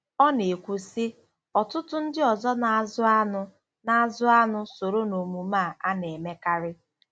Ọ na-ekwu, sị: “ Ọtụtụ ndị ọzọ na-azụ anụ na-azụ anụ soro n'omume a a na-emekarị.